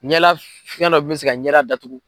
Ɲɛla fiyɛn dɔ bɛ min bɛ se ka ɲɛda datugu.